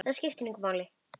Það skiptir engu máli.